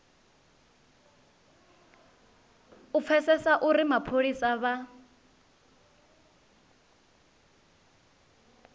u pfesesa uri mapholisa vha